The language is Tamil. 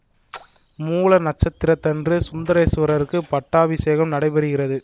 மூல நட்சத்திரத்தன்று சுந்தரேசுவரருக்குப் பட்டாபிசேகம் நடைபெறுகிறது